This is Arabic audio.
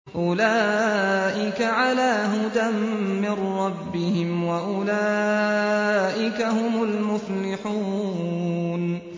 أُولَٰئِكَ عَلَىٰ هُدًى مِّن رَّبِّهِمْ ۖ وَأُولَٰئِكَ هُمُ الْمُفْلِحُونَ